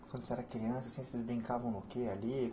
Quando você era criança, vocês brincavam do quê ali?